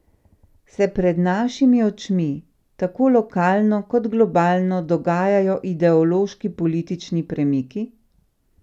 Se pred našimi očmi tako lokalno kot globalno dogajajo ideološki politični premiki?